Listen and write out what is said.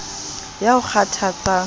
ya o kgothatsang ha o